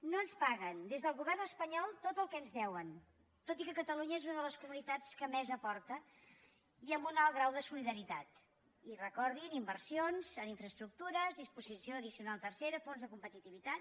no ens paguen des del govern espanyol tot el que ens deuen tot i que catalunya és una de les comunitats que més aporta i amb un alt grau de solidaritat i recordin inversions en infraestructures disposició addicional tercera fons de competitivitat